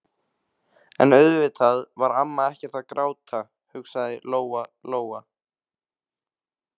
En auðvitað var amma ekkert að gráta, hugsaði Lóa-Lóa.